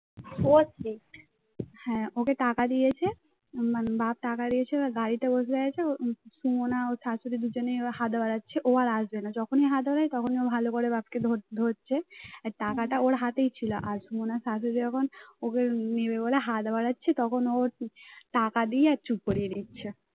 সুমনা ও শাশুড়ি দুজনে হাত বাড়াচ্ছিল ও আর আসবে না, যখনই হাত বাড়াই তখনই ভালো করে বাপকে ধরছে টাকাটা ওর হাতেই ছিল আর সুমনা শাশুড়ি যখন ওকে নেবে বলে হাত বাড়াচ্ছিল তখন ও টাকা দিয়ে চুপ করিয়ে দিচ্ছে।